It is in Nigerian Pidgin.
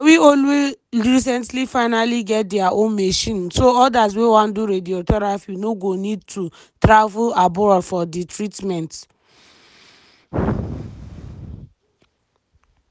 malawi only recently finally get dia own machine so odas way wan do radiotherapy no go need to travel abroad for di treatment.